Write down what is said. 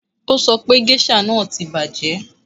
O sọ pé géṣà náà ti bàjẹ́